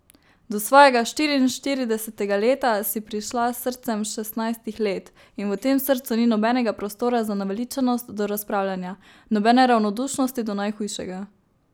Do svojega štiriinštiridesetega leta si prišla s srcem šestnajstih let, in v tem srcu ni nobenega prostora za naveličanost do razpravljanja, nobene ravnodušnosti do najhujšega.